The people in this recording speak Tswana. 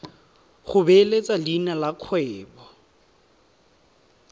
go beeletsa leina la kgwebo